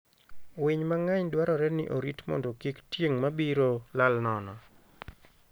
Winy mang'eny dwarore ni orit mondo kik tieng' mabiro lal nono.